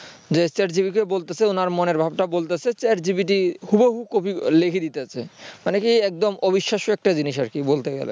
chat GPT কে বলতেসে উনার মনের ভাবটা বলতেছে আর chat GPT হুবাহু copy লিখে দিতেছে মানে কি একদম অবিশ্বাস্য একটা জিনিস বলতে গেলে